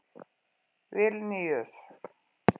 Vilníus